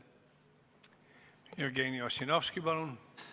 Jevgeni Ossinovski, palun!